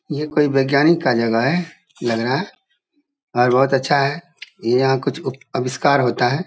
ये कोई वैज्ञानिक का जगह है लग रहा और बहुत अच्छा है ये यहाँ कुछ ऊ-आविष्कार होता है।